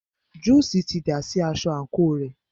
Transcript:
Júùsí ti dà sí aṣọ àńkò rẹ̀.